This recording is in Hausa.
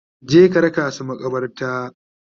Je ka raka su maƙabarta!